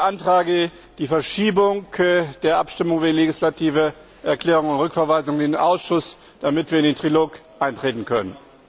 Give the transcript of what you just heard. Ich beantrage die Verschiebung der Abstimmung über die legislative Erklärung und die Rückverweisung in den Ausschuss, damit wir in den Trilog eintreten können.